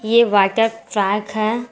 ये water park है।